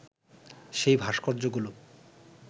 সেই ভাস্কর্যগুলো